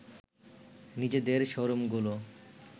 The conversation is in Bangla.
নিজেদের শোরুমগুলো